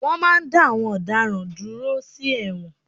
Wọ́n máa n dá àwọn ọ̀daràn dúró sí ẹ̀wọ̀n